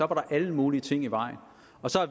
der var alle mulige ting i vejen